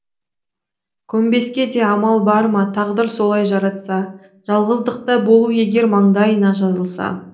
көмбеске де амал бар ма тағдыр солай жаратса жалғыздықта болу егер маңдайына жазылса